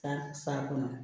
San sa kɔnɔ